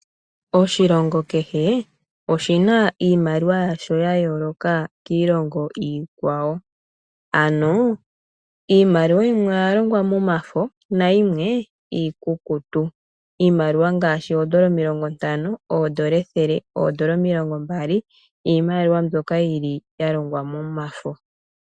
Oshilongo kehe oshina iimaliwa yasho yayooloka kiilongo iikwawo. Iimaliwa yimwe oya longwa momafo nayimwe iikukutu. iimaliwa ngaashi oondola omilingo ntano, oondola ethele noondola omilongo mbali, iimaliwa mbyoka ya longwa momafo.